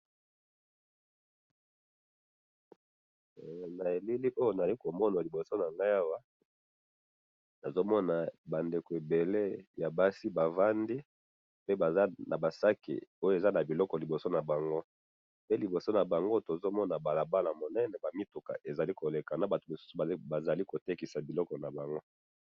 Na moni batu baza kotekisa pembeni ya balabala munene na mituka eza ko leka.